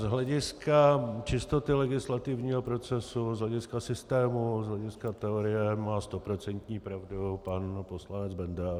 Z hlediska čistoty legislativního procesu, z hlediska systému, z hlediska teorie má stoprocentní pravdu pan poslanec Benda.